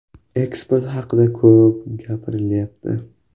Eksport haqida ko‘p gapirilyapti.